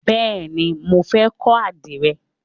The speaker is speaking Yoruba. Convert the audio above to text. Bẹ́ẹ̀ni, mo fẹ́ kọ́ àdìrẹ.